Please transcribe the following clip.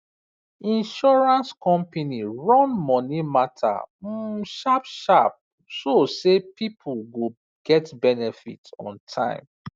insurance company run money matter um sharp sharp so say people go get benefit on time